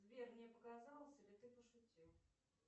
сбер мне показалось или ты пошутил